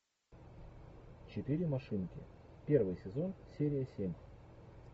четыре машинки первый сезон серия семь